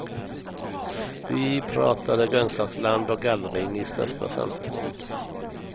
Vi pratade grönsaksland och gallring i största samförstånd.